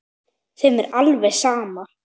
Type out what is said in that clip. Þeim er alveg sama.